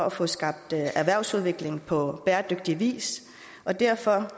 at få skabt en erhvervsudvikling på bæredygtig vis og derfor